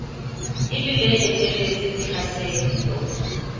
e le le etelletseng tlhaselo